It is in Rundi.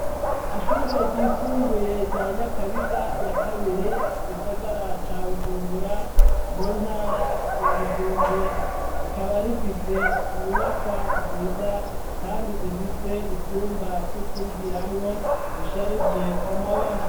Ishure ryisumbuye rya Nyakabiga ya kabiri mu gisagara ca Bujumbura mu ntara ya Bujumbura, rikaba rifise inyubakwa nziza kandi zifise ivyumba vy'ukwigiramwo bisharije amabara.